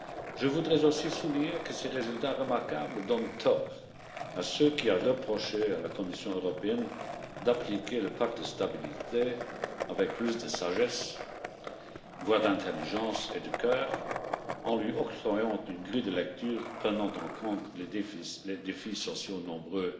Je voudrais aussi souligner que ces résultats remarquables donnent tort à ceux qui avaient reproché à la Commission européenne d'appliquer le pacte de stabilité avec plus de sagesse, voire d'intelligence et de cœur en lui octroyant une grille de lecture prenant en compte les défis sociaux nombreux